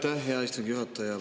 Aitäh, hea istungi juhataja!